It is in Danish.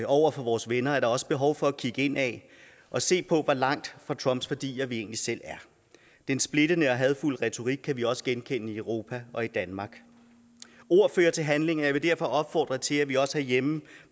over for vores venner er der også behov for at kigge indad og se på hvor langt fra trumps værdier vi egentlig selv er den splittende og hadefulde retorik kan vi også genkende i europa og danmark ord fører til handling og jeg vil derfor opfordre til at vi også herhjemme